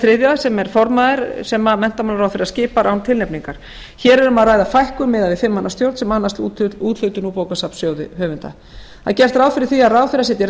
þriðja sem er formaður sem menntamálaráðherra skipar án tilnefningar hér er um að ræða fækkun miðað við fimm manna stjórn sem annast úthlutun úr bókasafnssjóði höfunda það er gert ráð fyrir því að ráðherra setji